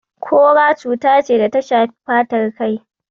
Kora cuta ce da ta shafi fatar kai.